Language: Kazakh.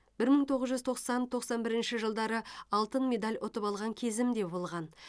бір мың тоғыз жүз тоқсан тоқсан бірінші жылдары алтын медаль ұтып алған кезім де болған